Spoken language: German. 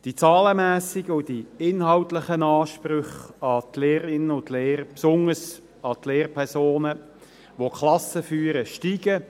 Die zahlenmässigen die inhaltlichen Ansprüche an die Lehrerinnen und Lehrer, und insbesondere an die Lehrpersonen, die die Klassen führen, steigen.